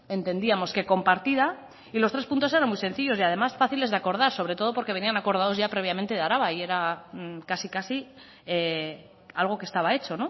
entendíamos que compartida y los tres puntos eran muy sencillos y además fáciles de acordar sobre todo porque venían acordados ya previamente de araba y era casi casi algo que estaba hecho